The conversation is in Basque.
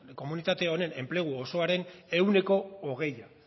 komunitate honen enplegu osoaren ehuneko hogei